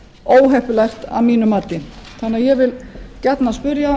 óheppilegt að mínu mati þannig að ég vil gjarnan spyrja